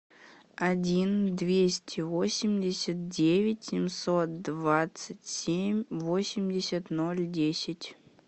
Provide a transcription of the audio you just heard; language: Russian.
один двести восемьдесят девять семьсот двадцать семь восемьдесят ноль десять